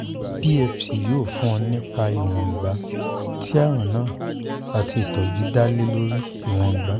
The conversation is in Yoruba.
pft yoo sọ fun ọ nipa iwongba ti arun naa ati itọju da lori iwongba